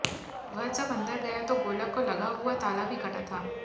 वह जब अंदर गया तो गोलक को लगा हुआ ताला भी कटा था